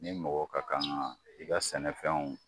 Ni mɔgɔ ka kan ŋa i ka sɛnɛfɛnw